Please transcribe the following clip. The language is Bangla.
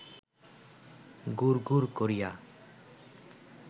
গুড় গুড় করিয়া